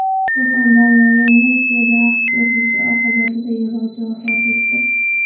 Surxondaryoda Nexia daraxtga urilishi oqibatida yo‘lovchi vafot etdi.